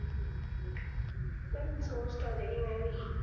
ਕਿਰਨ ਸੋਚ ਤਾਂ ਰਹੀ ਮੈਂ ਵੀ